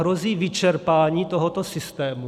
Hrozí vyčerpání tohoto systému?